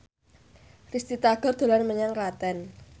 Risty Tagor dolan menyang Klaten